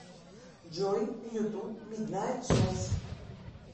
джой ютуб миднайт сотс